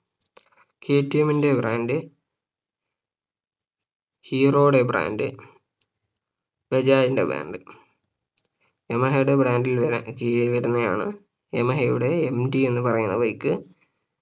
K T എമ്മിന്റെ brand ഹീറോയുടെ brand ബജാജിന്റെ brand യമഹയുടെ brand ൽ വരാ കീഴിൽ വരുന്നതാണ് യമഹയുടെ MT എന്ന് പറയുന്ന bike